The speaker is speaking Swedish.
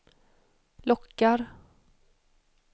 lockar